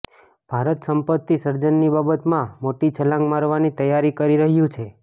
ભારત સંપત્તિ સર્જનની બાબતમાં મોટી છલાંગ મારવાની તૈયારી કરી રહ્યું છે